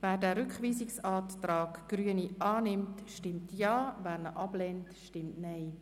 Wer den Rückweisungsantrag annimmt, stimmt Ja, wer diesen ablehnt, stimmt Nein.